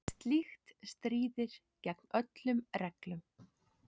Slíkt stríðir gegn öllum reglum.